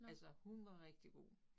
Altså hun var rigtig god